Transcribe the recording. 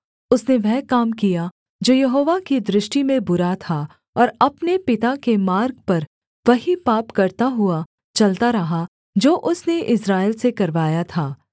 उसने वह काम किया जो यहोवा की दृष्टि में बुरा था और अपने पिता के मार्ग पर वही पाप करता हुआ चलता रहा जो उसने इस्राएल से करवाया था